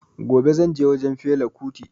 Gobe zan je wajen fela kuti